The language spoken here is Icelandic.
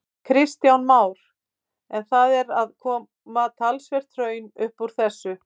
Kristján Már: En það er að koma talsvert hraun upp úr þessu?